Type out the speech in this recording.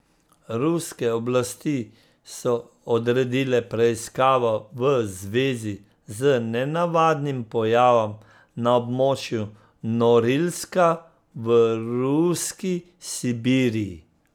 Ruske oblasti so odredile preiskavo v zvezi z nenavadnim pojavom na območju Norilska v ruski Sibiriji.